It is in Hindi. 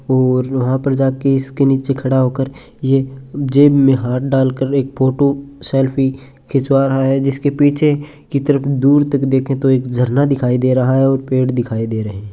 और वहां पे जाकर इसके नीचे खड़ा होकर ये जेब में हाँथ डालकर एक फोटो सेल्फी खिचवा रहा है जिसके पीछे की तरफ दूर तक देंखे तो एक झरना दिखाई दे रहा है और पेड़ दिखाई दे रहे है।